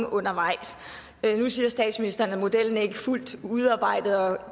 undervejs nu siger statsministeren at modellen ikke er fuldt udviklet og